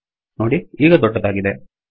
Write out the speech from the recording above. ನೋಡಿ ಇದು ದೊಡ್ಡದಾಗಿದೆ